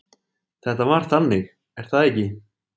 Þetta var þannig, er það ekki?